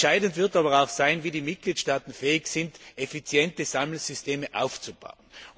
Entscheidend wird aber auch sein, inwieweit die Mitgliedstaaten fähig sind, effiziente Sammelsysteme aufzubauen.